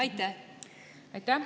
Aitäh!